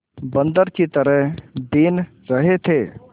बंदर की तरह बीन रहे थे